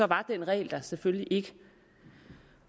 var den regel der selvfølgelig ikke